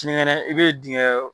Sini kɛnɛ i bɛ dingɛ